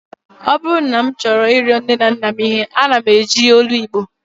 Ọ bụrụ na m chọọ ịrịọ nne na nna m ihe, ana m eji olu Igbo